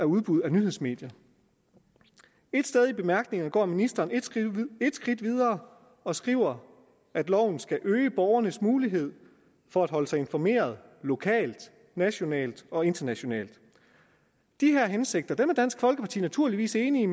udbuddet af nyhedsmedier et sted i bemærkningerne går ministeren et skridt videre og skriver at loven skal øge borgernes muligheder for at holde sig informeret lokalt nationalt og internationalt de hensigter er dansk folkeparti naturligvis enige